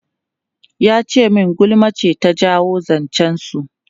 Ya ce min gulma ce ta jawo zancen su.